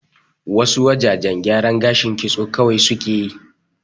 Wa su wajajen gyaran gashin kitso kawai su ke yi